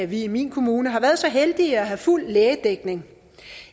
vi i min kommune har været så heldige at have fuld lægedækning